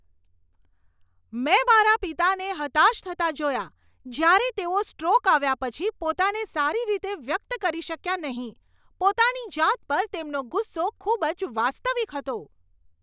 મેં મારા પિતાને હતાશ થતા જોયા જ્યારે તેઓ સ્ટ્રોક આવ્યા પછી પોતાને સારી રીતે વ્યક્ત કરી શક્યા નહીં. પોતાની જાત પર તેમનો ગુસ્સો ખૂબ જ વાસ્તવિક હતો.